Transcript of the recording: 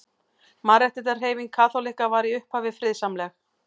Mannréttindahreyfing kaþólikka var í upphafi friðsamleg.